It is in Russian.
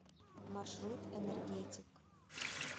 маршрут энергетик